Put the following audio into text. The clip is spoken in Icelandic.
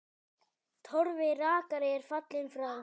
Torfi rakari er fallinn frá.